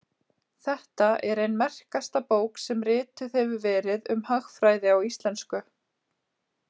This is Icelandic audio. Þetta er ein merkasta bók sem rituð hefur verið um hagfræði á íslensku.